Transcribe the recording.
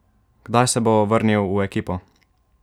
Kdaj se bo vrnil v ekipo?